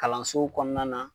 Kalanso kɔnɔna na